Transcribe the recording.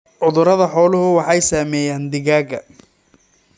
Cudurada xooluhu waxay saameeyaan digaagga.